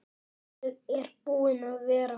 Ég er búinn að vera